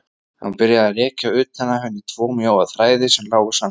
Hann byrjaði að rekja utan af henni tvo mjóa þræði sem lágu samhliða.